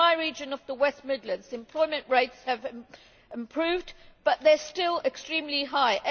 In my region of the West Midlands, employment rates have improved, but they are still extremely high.